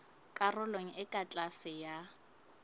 karolong e ka tlase ya